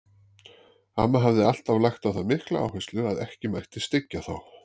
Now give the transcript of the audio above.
Amma hafði alltaf lagt á það mikla áherslu að ekki mætti styggja þá.